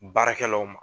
Baarakɛlaw ma